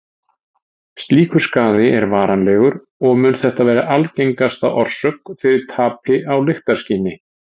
Slíkur skaði er varanlegur og mun þetta vera algengasta orsök fyrir tapi á lyktarskyni.